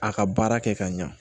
A ka baara kɛ ka ɲɛ